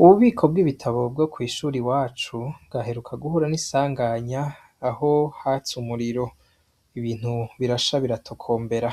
Ububiko bw'ibitabo bwo kw'ishuri wacu gaheruka guhura n'isanganya aho hatse umuriro ibintu birasha biratokombera,